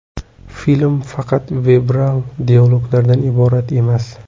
Film faqat verbal dialoglardan iborat emas.